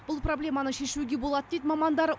бұл проблеманы шешуге болады дейді мамандар